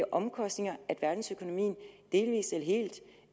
omkostninger at verdensøkonomien delvis eller helt